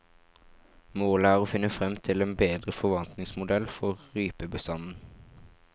Målet er å finne frem til en bedre forvaltningsmodell for rypebestanden.